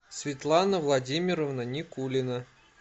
светлана владимировна никулина